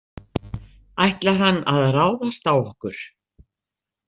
Ætlar hann að ráðast á okkur?